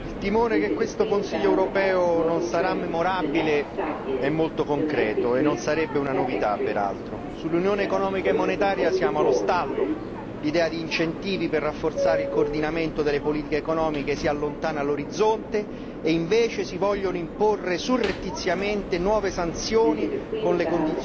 Signor Presidente, onorevoli colleghi, il timore che questo Consiglio europeo non sarà memorabile è molto concreto e non sarebbe peraltro una novità. Sull'Unione economica e monetaria siamo allo stallo l'idea di incentivi per rafforzare il coordinamento delle politiche economiche si allontana all'orizzonte, mentre si vogliono imporre surrettiziamente nuove sanzioni